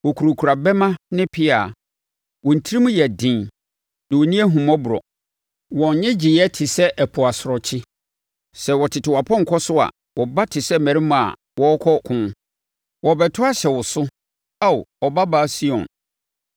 Wɔkurakura bɛmma ne pea; wɔn tirim yɛ den, na wɔnni ahummɔborɔ. Wɔn nnyegyeeɛ te sɛ ɛpo asorɔkye. Sɛ wɔtete wɔn apɔnkɔ so a, wɔba te sɛ mmarima a wɔrekɔ ɔko. Wɔrebɛto ahyɛ wo so, Ao Ɔbabaa Sion.”